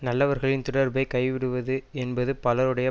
நல்லவர்களின் தொடர்பைக் கைவிடுவது என்பது பலருடைய